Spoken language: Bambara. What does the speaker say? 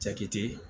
Jakite